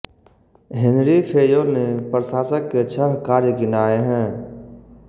Henry Fayol ने प्रशासक के छः कार्य गिनाए हैं